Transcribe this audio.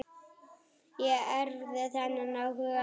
Ég erfði þennan áhuga hans.